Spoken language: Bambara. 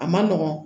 A ma nɔgɔn